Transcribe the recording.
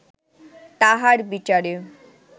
তাহার বিচারে